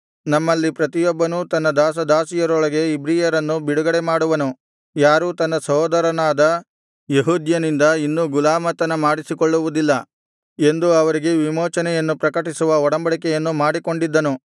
ನಮ್ಮಲ್ಲಿ ಪ್ರತಿಯೊಬ್ಬನು ತನ್ನ ದಾಸ ದಾಸಿಯರೊಳಗೆ ಇಬ್ರಿಯರನ್ನು ಬಿಡುಗಡೆಮಾಡುವನು ಯಾರೂ ತನ್ನ ಸಹೋದರನಾದ ಯೆಹೂದ್ಯನಿಂದ ಇನ್ನು ಗುಲಾಮತನ ಮಾಡಿಸಿಕೊಳ್ಳುವುದಿಲ್ಲ ಎಂದು ಅವರಿಗೆ ವಿಮೋಚನೆಯನ್ನು ಪ್ರಕಟಿಸುವ ಒಡಂಬಡಿಕೆಯನ್ನು ಮಾಡಿಕೊಂಡಿದ್ದನು